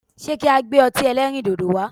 Se ki a gbe o̩ti e̩lẹrindodo wa?